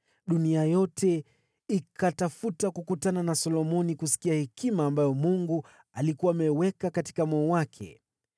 Dunia yote ikatafuta kukutana na Solomoni ili kusikia hekima ambayo Mungu alikuwa ameiweka katika moyo wake.